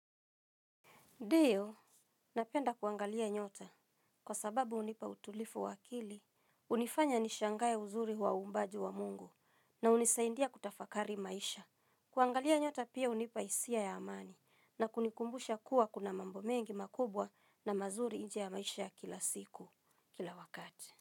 Ndio, napenda kuangalia nyota kwa sababu hunipa utulivu wa akili, hunifanya nishangaeuz uri wa uumbaji wa Mungu na hunisaidia kutafakari maisha. Kuangalia nyota pia hunipa hisia ya amani na kunikumbusha kuwa kuna mambo mengi makubwa na mazuri nje ya maisha kila siku, kila wakati.